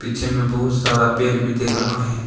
पीछे में बहुत सारा पेड़ भी दिख रहा है।